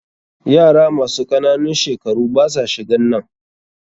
Yara masu ƙananun shekaru basa shiganan.